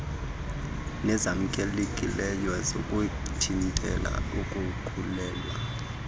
nezamkelekileyo zokuthintela ukukhulelwa